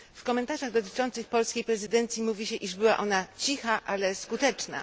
W komentarzach dotyczących polskiej prezydencji mówi się, iż była ona cicha, ale skuteczna.